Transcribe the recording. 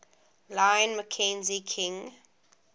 lyon mackenzie king